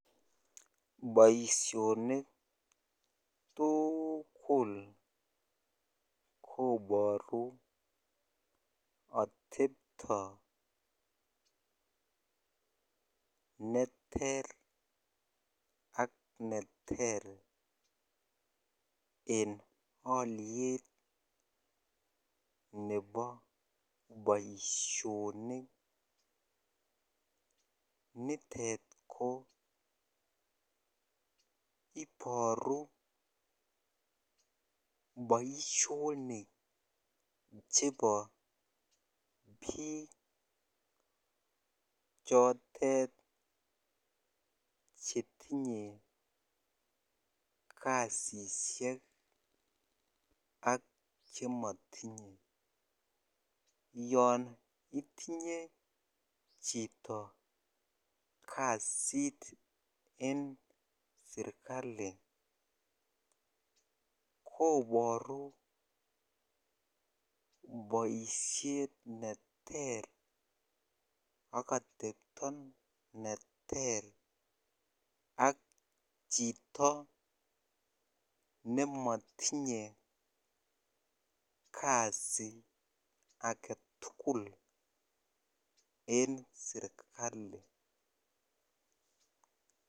Boisionik tuugul koboru ateptoo neter ak neter en alyet nebo boisionik nitet ko iboru boisionik chebo biik chotet chetinye kasisiek ak chemotinye yon itinye chito kasit en serikali koboru boisiet neter ak atepto neter ak chito nemotinye kasii agetugul en serikali.